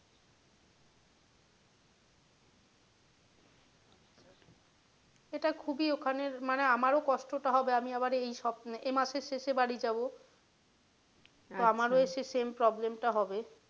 সেটা খুবই ওখানে মানে আমারও কষ্ট টা হবে আমি আবার এই সপ, এই মাসের শেষে বাড়ি যাবো তো আমারও সেই same problem টা হবে।